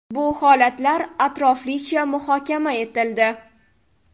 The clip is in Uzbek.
Bu holatlar atroflicha muhokama etildi.